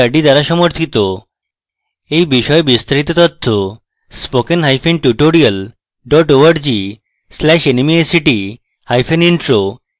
এই বিষয়ে বিস্তারিত spokentutorial org/nmeictintro তে প্রাপ্তিসাধ্য